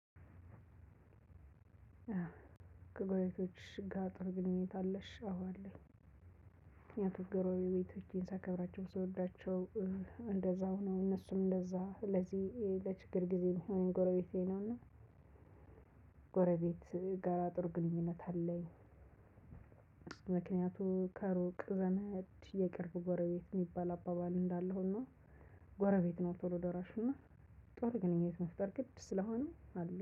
ከጎረቤቶችሽ ጋር ጥሩ ግንኙነት አለሽ? አዎ አለኝ። ምክንያቱም ጎረቤቶቼን ሳከብራቸው ስወዳቸው እንደዛው ነው እነሱም እንደዛ ለዚህ ለችግር ጊዜ የሚሆነኝ ጎረቤቴ ነው። እና ጎረቤት ጋር ጥሩ ግንኙነት አለኝ። ምክንያቱ ከሩቅ ዘመድ የቅርብ ጎረቤት የሚባል አባባል እንዳለ ሆኖ። ጎረቤት ነው ቶሎ ደራሽ እና ጥሩ ግንኙነት መፍጠር ግድ ስለሆነ።